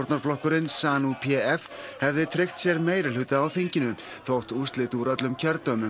p f hefði tryggt sér meirihluta á þinginu þótt úrslit úr öllum kjördæmum væru ekki kunn